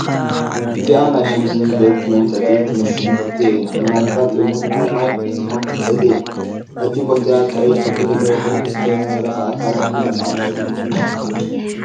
እዚአ ናይ ሽንቲ ቤት መምጠጢ ትመስል ቦቴ እያ ምናልባት እውን ናይ ማይ ክትኮን ትክእል እያ፡፡ እቲ ቦቴኣ ቀይሕ ሕብሪ ዘለዎ ኮይኑ ዝተረፈ አካላ ድማ ፃዕዳ እያ፡፡